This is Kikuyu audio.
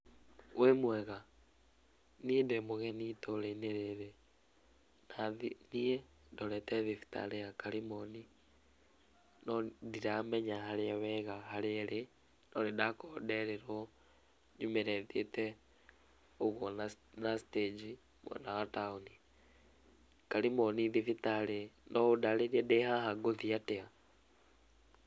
Wĩ mwega? Niĩ ndĩmũgeni itũra-inĩ rĩrĩ, hathi thiĩ ndorete thibitarĩ ya Karĩmoni, no ndiramenya harĩa wega harĩa ĩrĩ, no nĩndakorwo nderĩrwo nyumĩre thiĩte ũguo na na stage i mwena wa taũni. Karimoni thibitarĩ no ũndarĩrie ndĩhaha ngũthiĩ atĩa?